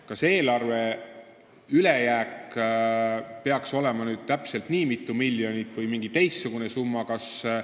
Kas eelarve ülejääk peaks olema täpselt nii mitu miljonit või mingi teistsugune summa?